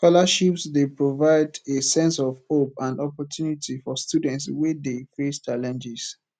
scholarships dey provide a sense of hope and opportunity for students wey dey face challenges